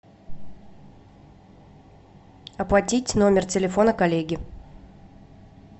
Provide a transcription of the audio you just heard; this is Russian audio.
оплатить номер телефона коллеги